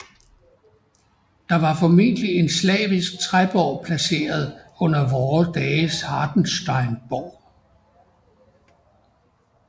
Der var formentlig en slavisk træborg placeret under vore dages Hartenstein borg